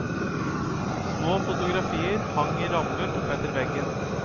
Små fotografier hang i rammer oppetter veggen.